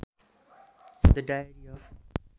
the diary of